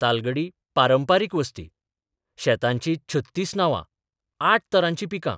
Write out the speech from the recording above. तालगडी पारंपारीक वस्ती, शेतांचीं 36 नांवां, 8 तरांची पिकां...